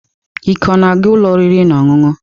Ike ọ na-aga ụlọ oriri na ọṅụṅụ?